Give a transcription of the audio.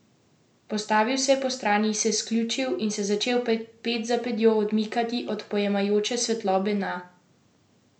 Postavil se je postrani, se sključil in se začel ped za pedjo odmikati od pojemajoče svetlobe na prostem.